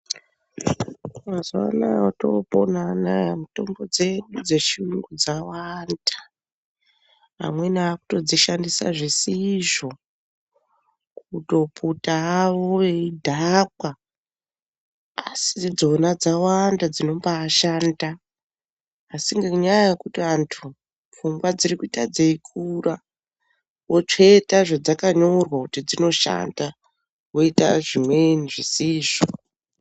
Mazuwa anaya otopona anaya mitombo dzechiyungu dzawanda. Amweni akutodzishandisa zvisizvo, kutoputa hawo eyidhakwa asi idzona dzawanda dzinombashanda asi ngenyaya yekuti antu pfungwa dziri kuita dzeikura, votsveta zvedzakanyorwa kuti dzinoshanda voita zvimweni zvisizvo